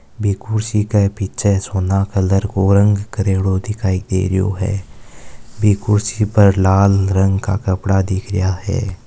बी कुर्सी के पीछे सोना कलर के रंग करयोड्यो दिखायी दे रियो है बी कुर्सी पर लाल रंग को कपड़ा दिख रया है।